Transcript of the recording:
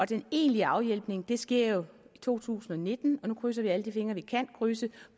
den egentlige afhjælpning sker jo i to tusind og nitten og nu krydser vi alle de fingre vi kan krydse